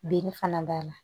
Din fana b'a la